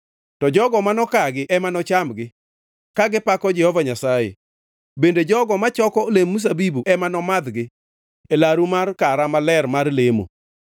to jogo mano kagi ema nochamgi, ka gipako Jehova Nyasaye, bende jogo ma choko olemb mzabibu ema nomadhgi e laru mar kara maler mar lemo.”